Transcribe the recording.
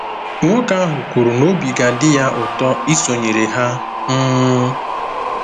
Nwoke ahụ kwuru na obi ga-adị ya ụtọ isonyere ha um.